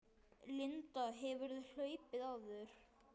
Linda: Hefurðu hlaupið áður?